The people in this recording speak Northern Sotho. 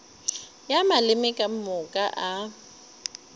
ya maleme ka moka a